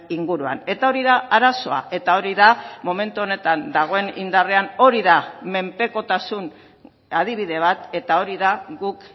inguruan eta hori da arazoa eta hori da momentu honetan dagoen indarrean hori da menpekotasun adibide bat eta hori da guk